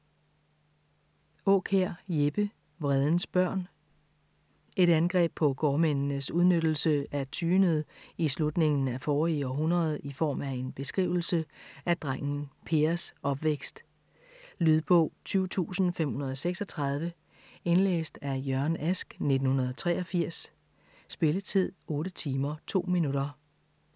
Aakjær, Jeppe: Vredens børn Et angreb på gårdmændenes udnyttelse af tyendet i slutningen af forrige århundrede i form af en beskrivelse af drengen Pers opvækst. Lydbog 20536 Indlæst af Jørgen Ask, 1983. Spilletid: 8 timer, 2 minutter.